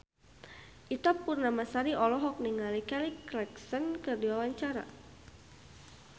Ita Purnamasari olohok ningali Kelly Clarkson keur diwawancara